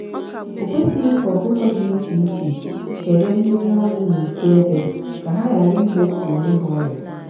okwesighi ka ọkụkọ dị iche iche kebe mmiri ọnwụ n'ofu ebe ka ha ghara igbofu onwe ha ọrịa.